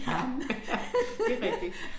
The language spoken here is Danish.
Ja det rigtigt